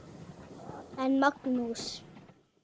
En Magnús